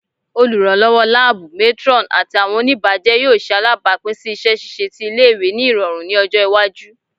Oluranlọwọ laabu, matron, ati awọn onibajẹ yoo ṣe alabapin si iṣẹ ṣiṣe ti ile-iwe ni irọrun ni ọjọ iwaju